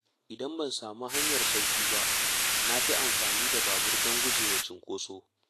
Idan ban sami hanyar sauƙi ba, na fi amfani da babur don gujewa cunkoso.